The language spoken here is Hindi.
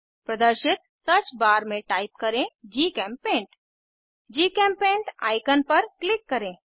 प्रदर्शित सर्च बार में टाइप करें जीचेम्पेंट जीचेम्पेंट आईकन पर क्लिक करें